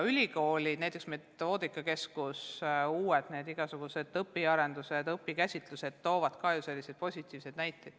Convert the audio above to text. Ülikoolide metoodikakeskustes tehakse igasuguseid uusi õpiarendusi ja õpikäsitlused toovad ka positiivseid näiteid.